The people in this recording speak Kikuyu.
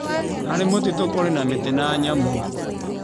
Harĩ mũtitũ kũrĩ na mĩtĩ na nyamũ.